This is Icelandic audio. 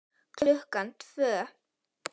Klukkan tvö.